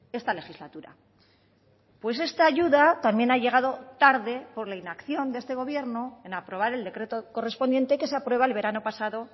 esta legislatura pues esta ayuda también ha llegado tarde por la inacción de este gobierno en aprobar el decreto correspondiente que se aprueba el verano pasado